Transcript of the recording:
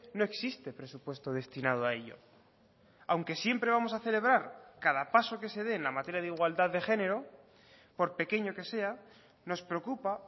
no existe presupuesto destinado a ello aunque siempre vamos a celebrar cada paso que se dé en la materia de igualdad de género por pequeño que sea nos preocupa